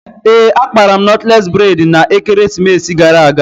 Ee, akpara m nọtles bredna ekeresimesi gara aga